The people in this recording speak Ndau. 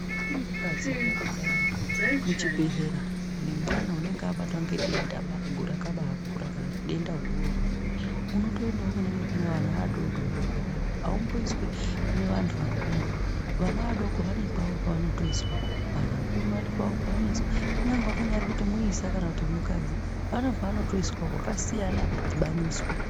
Uri mukadzi zviyani ukaenda muchibhedhlera nemwana unenge abatwa ngedenda rakabaakura kana kuti denda guru, unotoendawo kune vana vadoodori vega-vega, aumboiswi kune vanthu vakuru. Vana vadoodori vane kwavoo kwevanotoiswa. Vanthu vakuru vane kwavoo kwevanoiswa. Kunyange kunyari kuti muisa kana kuti mukadzi, vane kwevanotoiswa kwakasiyana avadhibaniswi.